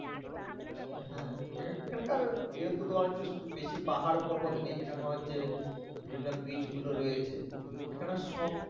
হ্যাঁ এখানকার যেহেতু তোমার হচ্ছে বেশি পাহাড় পর্বত নেই এখানে তোমার হচ্ছে বিভিন্ন beach গুলো রয়েছে এখানে সবরকম